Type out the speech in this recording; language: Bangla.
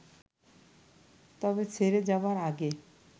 তবে ছেড়ে যাবার আগে